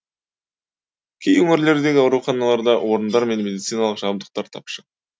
кей өңірлердегі ауруханаларда орындар мен медициналық жабдықтар тапшы